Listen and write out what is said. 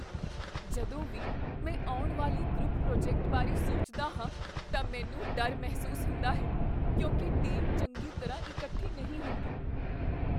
ਜਦੋਂ ਵੀ ਮੈਂ ਆਉਣ ਵਾਲੇ ਗਰੁੱਪ ਪ੍ਰੋਜੈਕਟ ਬਾਰੇ ਸੋਚਦਾ ਹਾਂ ਤਾਂ ਮੈਨੂੰ ਡਰ ਮਹਿਸੂਸ ਹੁੰਦਾ ਹੈ ਕਿਉਂਕਿ ਟੀਮ ਚੰਗੀ ਤਰ੍ਹਾਂ ਇਕੱਠੀ ਨਹੀਂ ਹੁੰਦੀ।